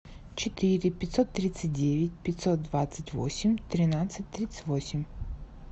четыре пятьсот тридцать девять пятьсот двадцать восемь тринадцать тридцать восемь